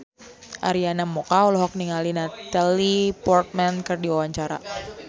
Arina Mocca olohok ningali Natalie Portman keur diwawancara